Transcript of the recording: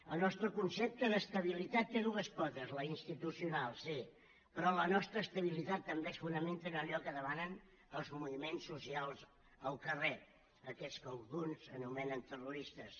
el nostre concepte d’estabilitat té dues potes la institucional sí però la nostra estabilitat també es fonamenta en allò que demanen els moviments socials al carrer aquests que alguns anomenen terroristes